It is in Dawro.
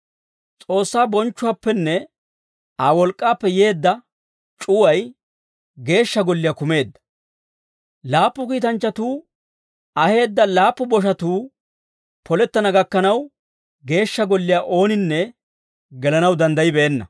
S'oossaa bonchchuwaappenne Aa wolk'k'aappe yeedda c'uway Geeshsha Golliyaa kumeedda. Laappu kiitanchchatuu aheedda laappu boshatuu polettana gakkanaw, Geeshsha Golliyaa ooninne gelanaw danddayibeenna.